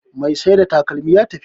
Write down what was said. Mai Saida takalman ya tafi